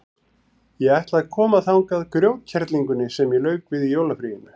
Ég ætla að koma þangað grjótkerlingunni sem ég lauk við í jólafríinu.